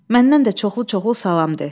Məndən də çoxlu-çoxlu salam de.